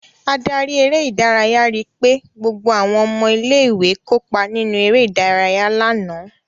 Adarí eré-idárayá ri pé gbogbo àwọn ọmọ ilé-ìwé kópa nínú eré-idárayá lánàá.